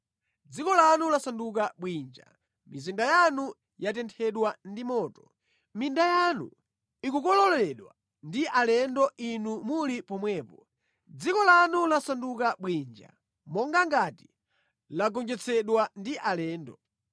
Dziko lanu lasanduka bwinja, mizinda yanu yatenthedwa ndi moto; minda yanu ikukololedwa ndi alendo inu muli pomwepo, dziko lanu lasanduka bwinja monga ngati lagonjetsedwa ndi alendo.